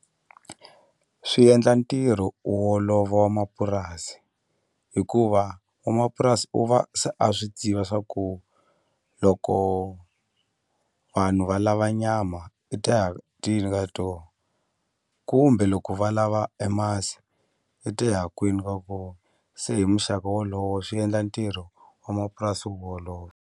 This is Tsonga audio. Swi endla ntirho wu olova wa mapurasi hikuva n'wamapurasi u va se a swi tiva swa ku loko vanhu valava nyama ka to kumbe loko va lava e masi i ta ya kwini ka ko se hi muxaka wolowo swi endla ntirho wa mapurasi wu olova.